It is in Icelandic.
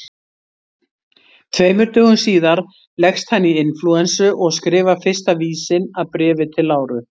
Tveimur dögum síðar leggst hann í inflúensu og skrifar fyrsta vísinn að Bréfi til Láru.